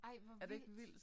Ej hvor vildt